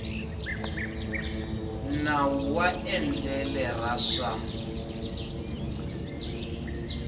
nawu wa endlele ra swa